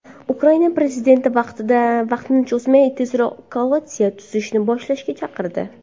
Ukraina prezidenti vaqtni cho‘zmay, tezroq koalitsiya tuzishni boshlashga chaqirdi.